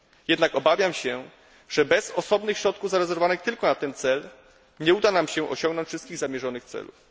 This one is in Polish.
Jednak obawiam się, że bez osobnych środków zarezerwowanych tylko na ten cel nie uda nam się osiągnąć wszystkich zamierzonych celów.